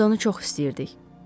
Hamımız onu çox istəyirdik.